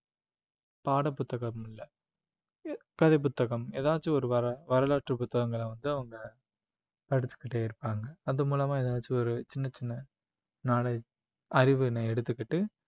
பாட புத்தகம் இல்ல எ~ கதை புத்தகம் எதாச்சும் ஒரு வர~ வரலாற்று புத்தகங்களை வந்து அவங்க படிச்சுக்கிட்டே இருப்பாங்க அது மூலமா ஏதாச்சு ஒரு சின்ன சின்ன knowledge அறிவு எடுத்துக்கிட்டு